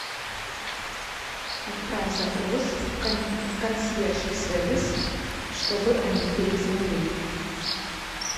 отправь запрос в консьерж сервис чтобы они перезвонили